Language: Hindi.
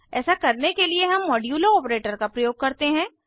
ऐसा करने के लिए हम मोड्यूलो ऑपरेटर का प्रयोग करते हैं